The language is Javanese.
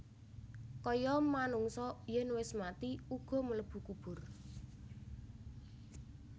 Kaya manungsa yen wis mati uga mlebu kubur